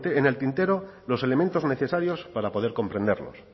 en el tintero los elementos necesarios para poder comprenderlos